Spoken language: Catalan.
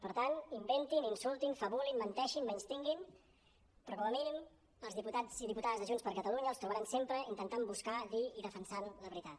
per tant inventin insultin fabulin mentei·xin menystinguin però com a mínim els diputats i diputades de junts per catalu·nya els trobaran sempre intentant buscar dir i defensant la veritat